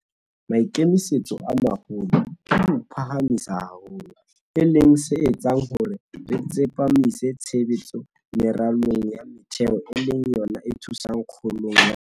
Maikemisetso a maholo ke ho o phahamisa haholo, e leng se etsang hore re tsepamise tshebetso meralong ya metheo e leng yona e thusang kgolong ya ona.